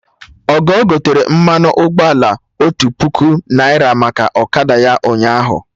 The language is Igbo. Ogo gotere mmanụ ụgbọala otu puku naira maka ọkada ya ụnyaahụ